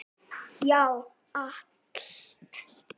Já, allt.